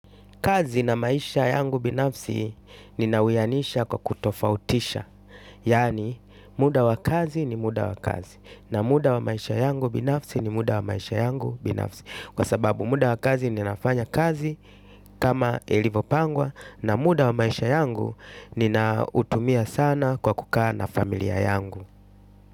Kazi na maisha yangu binafsi ninawianisha kwa kutofautisha. Yaani muda wa kazi ni muda wa kazi na muda wa maisha yangu binafsi ni muda wa maisha yangu binafsi. Kwa sababu muda wa kazi ninafanya kazi kama ilivyopangwa. Na muda wa maisha yangu ninautumia sana kwa kukaa na familia yangu.